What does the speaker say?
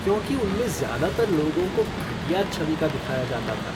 क्योंकि उनमें ज़्यादातर लोगों को घटिया छवि का दिखाया जाता था।